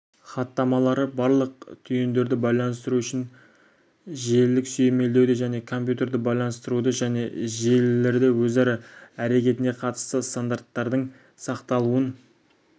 хаттамалары барлық түйіндерді байланыстыру үшін желілік сүйемелдеуді және компьютерді байланыстыруды және желілердің өзара әрекетіне қатысты стандарттардың сақталуын